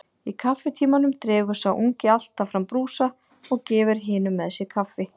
Í kaffitímanum dregur sá ungi alltaf fram brúsa og gefur hinum með sér kaffi.